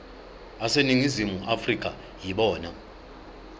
aseningizimu afrika yibona